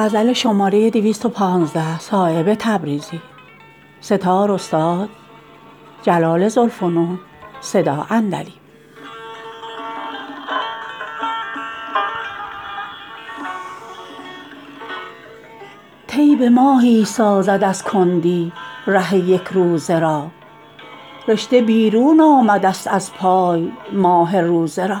طی به ماهی سازد از کندی ره یک روزه را رشته بیرون آمده است از پای ماه روزه را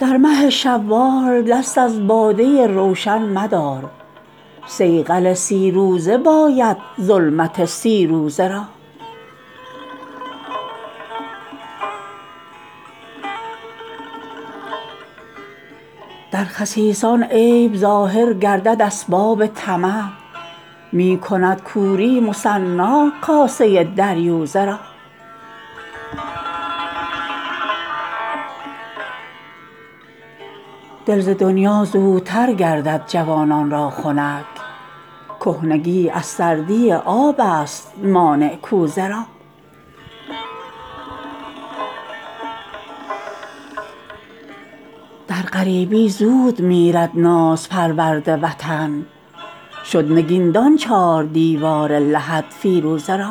در مه شوال دست از باده روشن مدار صیقل سی روزه باید ظلمت سی روزه را در خسیسان عیب ظاهر گردد اسباب طمع می کند کوری مثنی کاسه دریوزه را دل ز دنیا زودتر گردد جوانان را خنک کهنگی از سردی آب است مانع کوزه را در غریبی زود میرد ناز پرورد وطن شد نگین دان چار دیوار لحد فیروزه را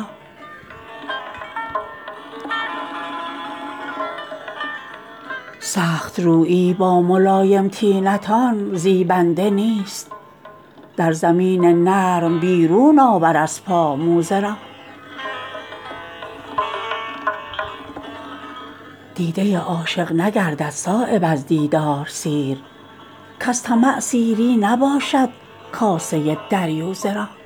سخت رویی با ملایم طینتان زیبنده نیست در زمین نرم بیرون آور از پا موزه را دیده عاشق نگردد صایب از دیدار سیر کز طمع سیری نباشد کاسه دریوزه را